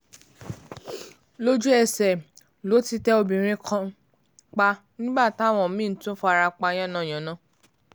lójú-ẹsẹ̀ ló ti tẹ obìnrin kan pa nígbà táwọn mí-ín tún fara pa yánnayànna